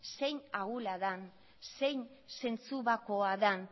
zein ahula den zein zentzubakoa den